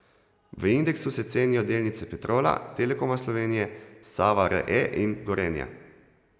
V indeksu se cenijo delnice Petrola, Telekoma Slovenije, Save Re in Gorenja.